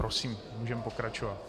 Prosím, můžeme pokračovat.